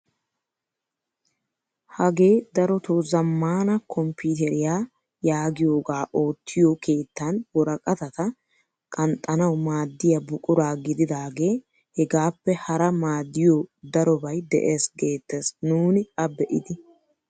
Hagee darotoo zammaana komppiteriyaa yaagiyoogaa oottiyoo keettan woraqatata qanxxanawu maaddiyaa buquraa gididagee hegaappe hara maaddiyoo darobay de'ees geettes nuuni a be'idi.